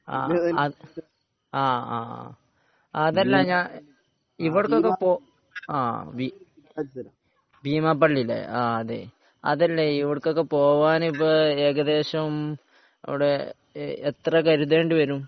ആഹ് അആഹ് അതല്ല ഞാൻ ഇവിടുന്നു. ഒക്കെ പോകാൻ ഭീമാപള്ളി അല്ലെ അതല്ല ഇവിടുക്കൊക്കെ പോകാൻ ഏകദേശം ഇപ്പൊ എത്ര കരുതേണ്ടിവരും